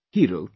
He wrote